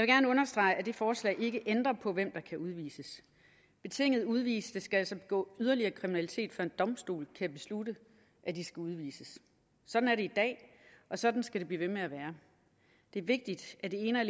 gerne understrege at det forslag ikke ændrer på hvem der kan udvises betinget udviste skal altså begå yderligere kriminalitet før en domstol kan beslutte at de skal udvises sådan er det i dag og sådan skal det blive ved med at være det er vigtigt at det ene og